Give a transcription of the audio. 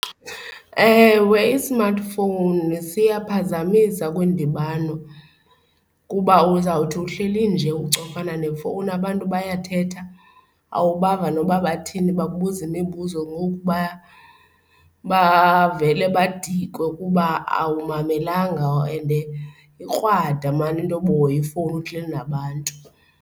Ewe, i-smartphone siyaphazamisa kwindibano kuba uzawuthi uhleli nje ucofana nefowuni abantu bayathetha awubava noba bathini bakubuza imibuzo ngoku bavele badikwe kuba awumamelanga and ikrwada maan intoba uhoye ifowuni uhleli nabantu.